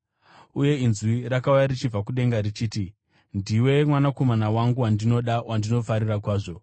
Uye inzwi rakauya richibva kudenga richiti, “Ndiwe Mwanakomana wangu, wandinoda, wandinofarira kwazvo.”